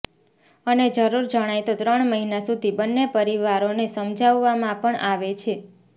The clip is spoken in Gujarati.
અને જરૂર જણાય તો ત્રણ મહિના સુધી બંને પરિવારોને સમજાવવા માં પણ આવે છે